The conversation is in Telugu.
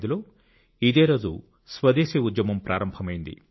1905 లో ఇదేరోజు స్వదేశీ ఉద్యమం ప్రారంభమైంది